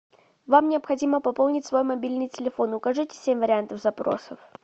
вам необходимо пополнить свой мобильный телефон укажите семь вариантов запросов